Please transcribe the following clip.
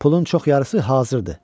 Pulun çox yarısı hazırdır.